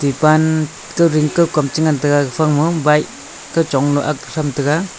epan kam che ngan taiga ephang ma bike chongnu angk tham taiga.